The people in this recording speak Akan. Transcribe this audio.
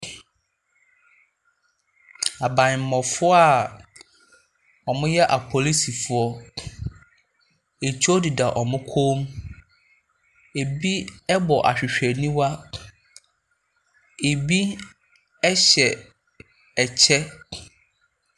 Abammɔfoɔ a wɔyɛ apolisifoɔ. Etuo deda wɔn kɔn mu. Ɛbi bɔ ahwehwɛniwa. Ɛbi hyɛ ɛkyɛ.